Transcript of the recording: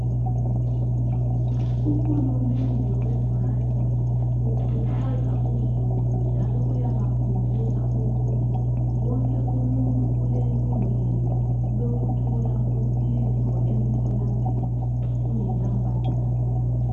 Uhulumende we Rwanda ukhuthaza uzulu njalo uyabakhumbuza ukuthi wonke umuntu ulelungelo lokuthola usizo emtholampilo kungela mbadalo.